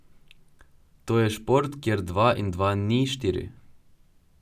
To je šport, kjer dva in dva ni štiri.